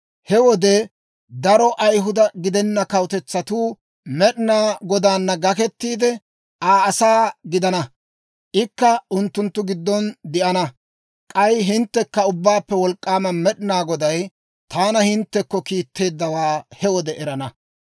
He wode daro Ayihuda gidenna kawutetsatuu Med'inaa Godaana gakettiide, Aa asaa gidana; ikka unttunttu giddon de'ana. K'ay hinttekka Ubbaappe Wolk'k'aama Med'inaa Goday taana hinttekko kiitteeddawaa he wode erana.